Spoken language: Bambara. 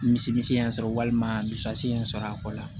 Misi y'a sɔrɔ walima dusu in ye sɔrɔ a kɔ la